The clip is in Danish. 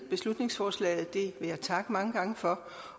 beslutningsforslaget det vil jeg takke mange gange for